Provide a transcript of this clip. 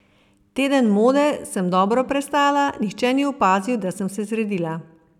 Teden mode sem dobro prestala, nihče ni opazil, da sem se zredila.